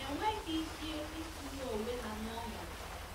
enweghị ike itinye onwe ha n’ọnọdụ ya.